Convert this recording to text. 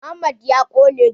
Mohammad ya ƙone jiya.